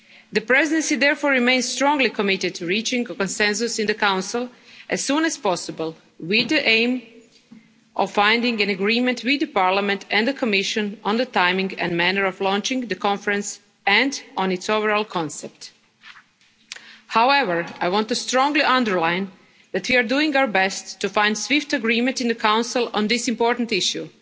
The Presidency therefore remains strongly committed to reaching a consensus in the Council as soon as possible, with the aim of finding an agreement with Parliament and the Commission on the timing and manner of launching the conference and on its overall concept. However, I want to strongly underline that we are doing our best to find swift agreement in the Council on this important issue.